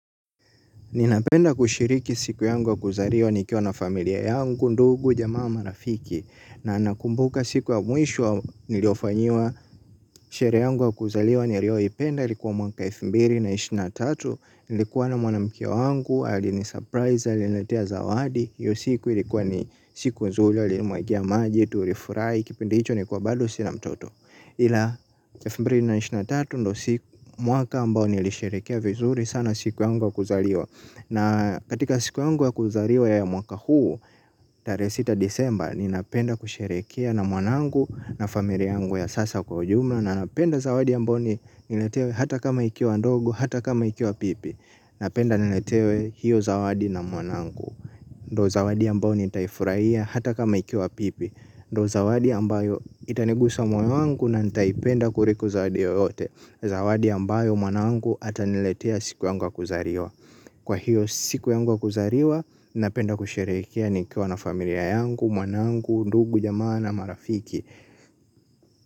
Ninapenda kushiriki siku yangu wa kuzaliwa nikiwa na familia yangu, ndugu, jamaa marafiki. Na nakumbuka siku wa mwisho niliyofanyiwa, sherehe yangu wa kuzaliwa nilioipenda. Ilikuwa mwaka wa elfu mbili na ishirini na tatu, nilikuwa na mwanamkie wangu, alini surprise, aliniletea zawadi hiyo siku ilikuwa ni siku nzuli, alinimwagia maji, tulifurahi, kipindi hicho nilikuwa bado sina mtoto. Ila elfu mbili na ishirini na tatu ndio siku mwaka ambao nilisherekea vizuri sana siku yangu ya kuzaliwa. Na katika siku yangu ya kuzaliwa ya mwaka huu, tarehe sita disemba, ninapenda kusherehekea na mwanangu na familia yangu ya sasa kwa ujumla. Na napenda zawadi ambao ni niletewe hata kama ikiwa ndogo, hata kama ikiwa pipi. Napenda niletewe hiyo zawadi na mwanangu. Ndio zawadi ambao nitaifurahia hata kama ikiwa pipi. Ndo zawadi ambayo itanigusa moyo wangu na nitaipenda kuriko zawadi yoyote. Zawadi ambayo mwanangu ataniletea siku yangu ya kuzaliwa. Kwa hiyo siku yangu ya kuzariwa, napenda kusherehekea nikiwa na familia yangu, mwanangu, ndugu, jamaa na marafiki.